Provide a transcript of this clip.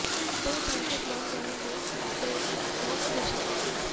ਦੋਵੇਂ ਪੈਰੇਂਟਸ ਬਣਨ ਗਏ ਨੇ ਤੇ ਬਹੁਤ ਖ਼ੁਸ਼ ਨੇ